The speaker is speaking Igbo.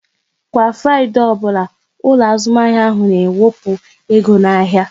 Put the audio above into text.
Kwa Fraịdee ọbụla, ụlọ azụmahịa ahụ n'ewepu ego n'ahịa